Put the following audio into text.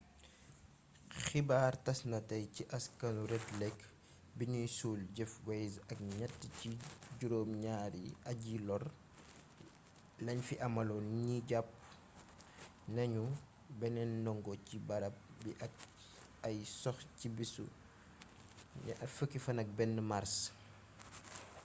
xibaar tàs na tey ci askanu red lake biñuy suul jeff weise ak ñatt ci juróom ñaari aji-lóru lañ fi amaloon ni jàpp nañu beneen ndongo ci barab bi ak ay sox ci bisu 21 màrs